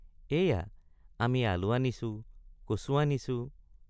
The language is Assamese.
এইয়া আমি আলু আনিছো কচু আনিছো।